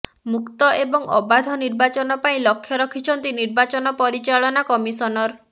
ମୁକ୍ତ ଏବଂ ଅବାଧ ନିର୍ବାଚନ ପାଇଁ ଲକ୍ଷ୍ୟ ରଖିଛନ୍ତି ନିର୍ବାଚନ ପରିଚାଳନା ଲକ୍ଷ୍ୟ ରଖିଛନ୍ତି ନିର୍ବାଚନ କମିଶନର